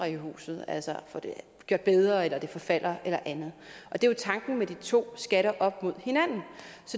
i huset altså får det gjort bedre eller fordi det forfalder eller andet og det er jo tanken med de to skatter op mod hinanden